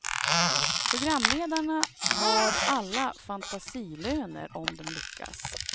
Programledarna har alla fantasilöner om de lyckas.